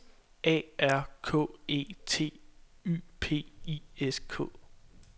A R K E T Y P I S K